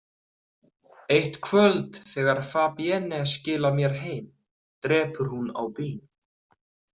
Eitt kvöld þegar Fabienne skilar mér heim drepur hún á bílnum.